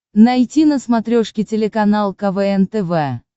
найти на смотрешке телеканал квн тв